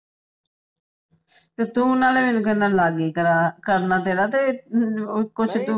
ਤੇ ਤੂੰ ਨਾਲੇ ਮੈਨੂੰ ਕਹਿਨਾ ਹੈਂ ਲਾਗੇ ਹੀ ਕਰਾ, ਕਰਨਾ ਤੇਰਾ ਤੇ ਕੁਝ ਤੂੰ